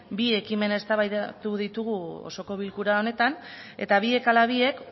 bi ekimen eztabaidatu ditugu osoko bilkura honetan eta biek ala biek